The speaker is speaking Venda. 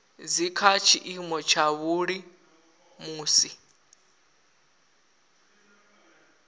dzi kha tshiimo tshavhuḓi musi